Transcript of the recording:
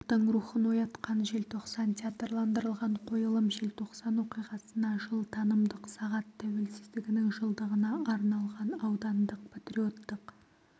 ұлттың рухын оятқан желтоқсан театрландырылған қойылым желтоқсан оқиғасына жыл танымдық сағат тәуелсіздігінің жылдығына арналған аудандық патриоттық